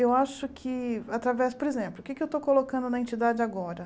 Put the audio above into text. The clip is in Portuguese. Eu acho que através, por exemplo, o que eu estou colocando na entidade agora?